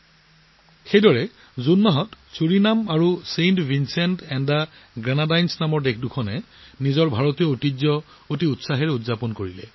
একেদৰে জুন মাহত কেৰিবিয়ান দুখন দেশ ছুৰিনাম আৰু চেণ্ট ভিনচেণ্ট আৰু গ্ৰেনাডানে নিজৰ ভাৰতীয় ঐতিহ্য সম্পূৰ্ণ উৎসাহ আৰু উদ্দীপনাৰে উদযাপন কৰিছিল